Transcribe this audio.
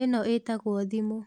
ĩno ĩtagũo thimũ.